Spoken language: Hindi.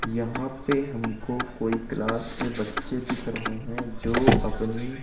यहां पे हमको कोई क्लास के बच्चे दिख रहे हैं जो अपनी--